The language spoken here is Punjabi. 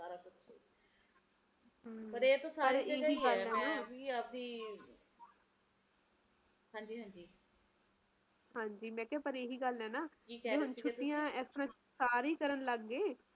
ਪਰ ਇਹ ਤਾ ਸਾਰੇ ਇਹੀ ਕਹਿ ਨਾ ਹਾਂਜੀ ਹਾਂਜੀ ਹਾਂਜੀ ਮੈਂ ਕਿਹਾ ਪਰ ਇਹੀ ਗੱਲ ਐ ਨਾ ਜਿਵੇ ਹੁਣ ਛੁੱਟਿਆ ਏਸ ਤਰਾਂ ਸਾਰੇ ਹੀ ਕਾਰਨ ਲੱਗ ਪਏ